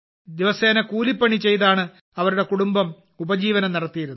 ദിവസേന കൂലിപ്പണി ചെയ്താണ് അവരുടെ കുടുംബം ഉപജീവനം നടത്തിയിരുന്നത്